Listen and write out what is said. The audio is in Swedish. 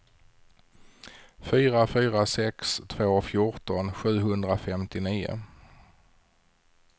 fyra fyra sex två fjorton sjuhundrafemtionio